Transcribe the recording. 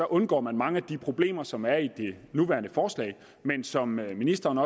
undgår man mange af de problemer som er i det nuværende forslag men som ministeren